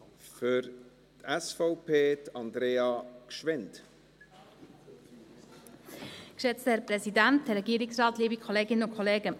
Der Wille des Gesetzgebers auf Bundesebene ist ganz klar.